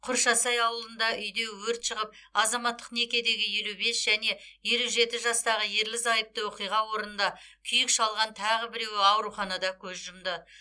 құршасай ауылында үйде өрт шығып азаматтық некедегі елу бес және елу жеті жастағы ерлі зайыпты оқиға орнында күйік шалған тағы біреуі ауруханада көз жұмды